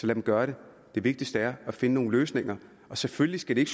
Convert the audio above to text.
dem gøre det det vigtigste er at finde nogle løsninger og selvfølgelig skal det